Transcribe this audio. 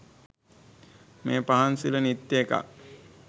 මේ පහන් සිළ නිත්‍ය එකක්